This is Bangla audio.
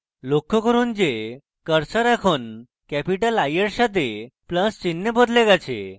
লক্ষ্য করুন যে cursor এখন capital i এর সাথে plus চিন্হে বদলে গেছে